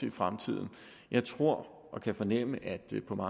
i fremtiden jeg tror og kan fornemme at